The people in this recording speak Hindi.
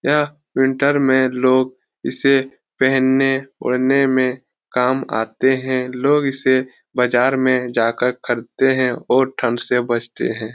यह विंटर में लोग इसे पहनने ओढने में काम आते हैं लोग इसे बाज़ार में जाकर खरीदते हैं और ठंड से बचते हैं।